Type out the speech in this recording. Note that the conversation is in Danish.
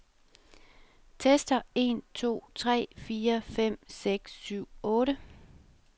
Tester en to tre fire fem seks syv otte.